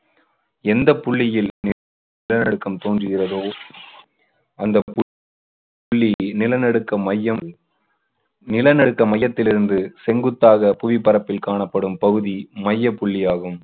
எந்த புள்ளியில் நி~ நிலநடுக்கம் தோன்றுகிறதோ அந்த பு~ புள்ளி நிலநடுக்க மையம் நிலநடுக்க மையத்திலிருந்து செங்குத்தாக புவி பரப்பில் காணப்படும் பகுதி மையப்புள்ளி ஆகும்.